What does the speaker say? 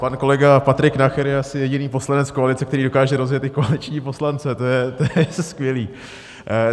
Pan kolega Patrik Nacher je asi jediný poslanec koalice, který dokáže rozjet i koaliční poslance, to je skvělý.